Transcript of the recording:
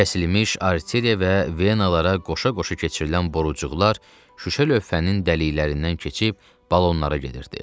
Kəsilmiş arteriya və venalara qoşa-qoşa keçirilən borucuqlar şüşə lövhənin dəliklərindən keçib balonlara gedirdi.